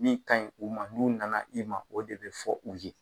Min kaɲi u ma, n'u nana, i ma, o de bi fɔ u ye